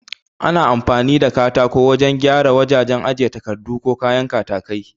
Ana amfani da katako wajan gyara wajajen ajiye takardu ko kayan katakai